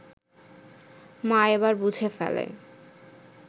মা এবার বুঝে ফেলে